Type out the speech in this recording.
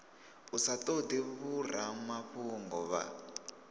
u sa todi vhoramafhungo vha